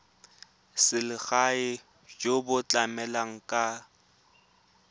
selegae jo bo tlamelang ka